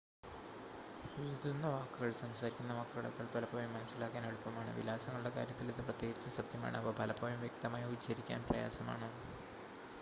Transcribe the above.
എഴുതുന്ന വാക്കുകൾ സംസാരിക്കുന്ന വാക്കുകളേക്കാൾ പലപ്പോഴും മനസ്സിലാക്കാൻ എളുപ്പമാണ് വിലാസങ്ങളുടെ കാര്യത്തിൽ ഇത് പ്രത്യേകിച്ചും സത്യമാണ് അവ പലപ്പോഴും വ്യക്തമായി ഉച്ചരിക്കാൻ പ്രയാസമാണ്